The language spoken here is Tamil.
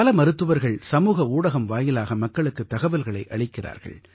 பல மருத்துவர்கள் சமூக ஊடகம் வாயிலாக மக்களுக்குத் தகவல்களை அளிக்கிறார்கள்